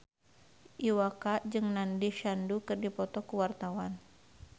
Iwa K jeung Nandish Sandhu keur dipoto ku wartawan